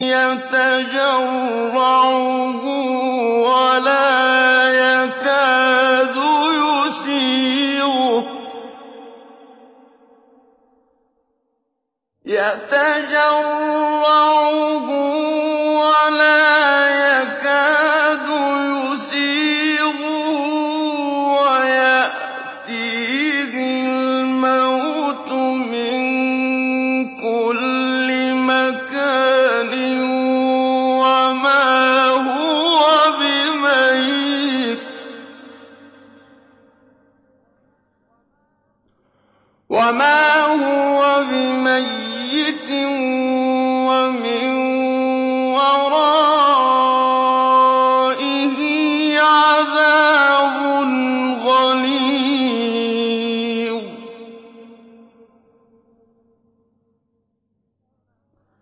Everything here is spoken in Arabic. يَتَجَرَّعُهُ وَلَا يَكَادُ يُسِيغُهُ وَيَأْتِيهِ الْمَوْتُ مِن كُلِّ مَكَانٍ وَمَا هُوَ بِمَيِّتٍ ۖ وَمِن وَرَائِهِ عَذَابٌ غَلِيظٌ